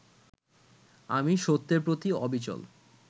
আমি সত্যের প্রতি অবিচল